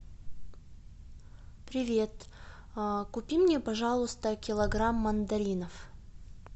привет купи мне пожалуйста килограмм мандаринов